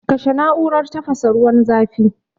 kashe na'urar tafasa ruwan zafin.